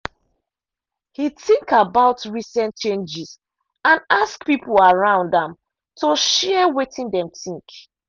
he think about recent changes and ask people around am to share wetin dem think.